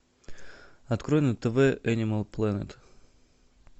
открой на тв энимал плэнет